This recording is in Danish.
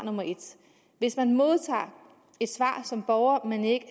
hvis man modtager et svar som borger man ikke